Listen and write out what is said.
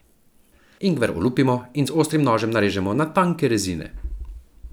Ingver olupimo in z ostrim nožem narežemo na tanke rezine.